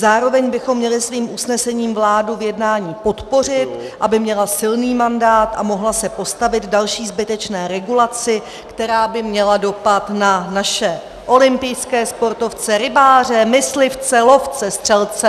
Zároveň bychom měli svým usnesením vládu v jednání podpořit, aby měla silný mandát a mohla se postavit další zbytečné regulaci, která by měla dopad na naše olympijské sportovce, rybáře, myslivce, lovce, střelce...